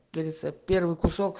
тридцать один